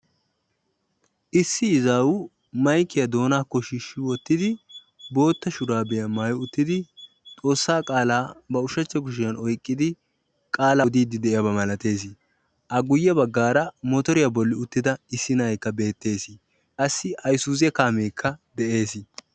Issi izaawu maykiyaa doonakko shiishshi wottidi bootta shuraabiyaa maayi uttidi xoossaa qaalaa ba ushshachcha kushiyaa oyqqidi qaalaa odiidi diyaaba malattees. a guye baggaara motoriyaa bolli uttida issi na'ayikka beettees. qassi hayzuuze kaamekka de'ees.